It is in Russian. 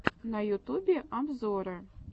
на ютубе обзоры